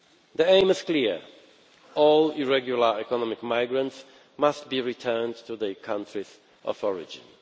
The aim is clear all irregular economic migrants must be returned to their countries of origin.